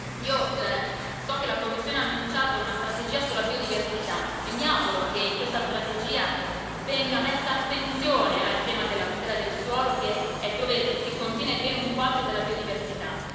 Io so che la Commissione ha annunciato una strategia sulla biodiversità e mi auguro che in questa strategia venga posta attenzione al tema della tutela del suolo, che contiene ben un quarto della biodiversità.